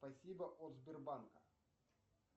спасибо от сбербанка